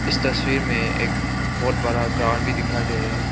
इस तस्वीर में एक बहुत बड़ा ग्राउंड भी दिखाई दे रहा है।